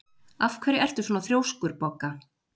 Af hverju ertu svona þrjóskur, Bogga?